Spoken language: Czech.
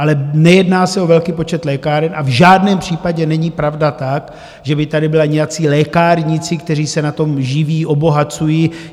Ale nejedná se o velký počet lékáren a v žádném případě není pravda ta, že by tady byli nějací lékárníci, kteří se na tom živí, obohacují.